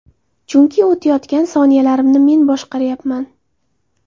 Chunki o‘tayotgan soniyalarimni men boshqaryapman!